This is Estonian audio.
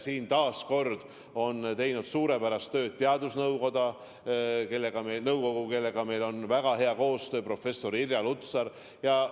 Siin on taas teinud suurepärast tööd teadusnõukoda, kellega meil on väga hea koostöö, näiteks professor Irja Lutsariga.